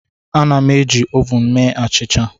Ana m eji m ovun mee achịcha.